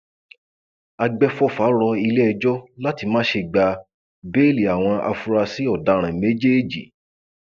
àgbẹfọfà rọ iléẹjọ láti má ṣe gba béèlì àwọn afurasí ọdaràn méjèèjì